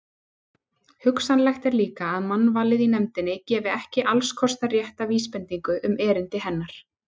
Hugsanlegt er líka, að mannvalið í nefndinni gefi ekki allskostar rétta vísbendingu um erindi hennar.